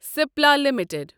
Cipla limited